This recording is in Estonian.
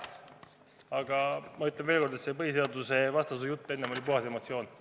Aga ma ütlen veel kord, et see põhiseadusvastasuse jutt on olnud puhas emotsioon.